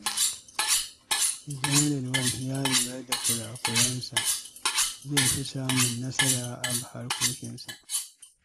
Idan Rilwan ya lura da kurakurensa, zai fi samun nasara a harkokinsa.